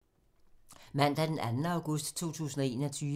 Mandag d. 2. august 2021